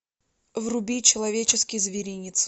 вруби человеческий зверинец